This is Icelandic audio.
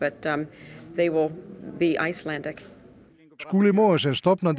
Skúli Mogensen stofnandi